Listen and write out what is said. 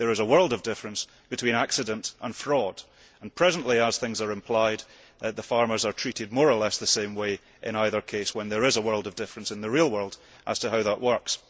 There is a world of difference between accident and fraud and presently, as things are implied, farmers are treated more or less the same way in either case, when there is a world of difference in the real world as to how that works.